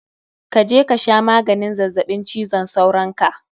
Kaje kasha maganin zazzabin cizon sauron ka